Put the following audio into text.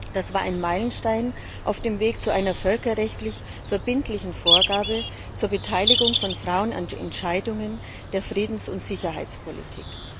Das war ein Meilenstein auf dem Weg zu einer völkerrechtlich verbindlichen Vorgabe zur Beteiligung von Frauen an den Entscheidungen der Friedens und Sicherheitspolitik.